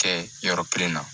Kɛ yɔrɔ kelen na